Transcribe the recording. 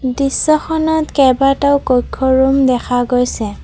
দৃশ্যখনত কেবাটাও কক্ষ্য ৰূম দেখা গৈছে।